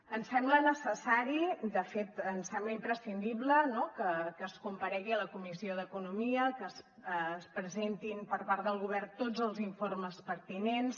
ens sembla necessari de fet ens sembla imprescindible no que es comparegui a la comissió d’economia que es presentin per part del govern tots els informes pertinents